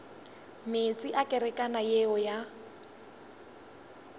meetse a kerekana yeo ya